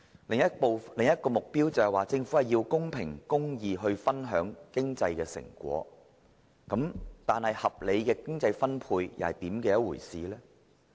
另一個目標是，政府必須公平公義地分享經濟成果，但合理的經濟分配又是甚麼一回事？